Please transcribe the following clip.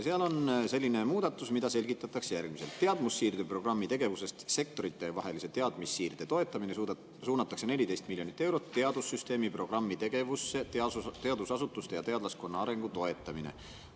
Seal on selline muudatus, mida selgitatakse järgmiselt: "Teadmussiirde programmi tegevusest Sektoritevahelise teadmissiirde toetamine suunatakse 14 000 000 eurot Teadussüsteemi programmi tegevusse Teadusasutuste ja teadlaskonna arengu toetamine.